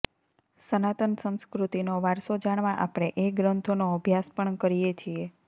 સનાતન સંસ્કૃતિનો વારસો જાણવા આપણે એ ગ્રંથોનો અભ્યાસ પણ કરીએ છીએ